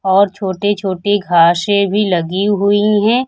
और छोटी छोटी घासें भी लगी हुई हैं।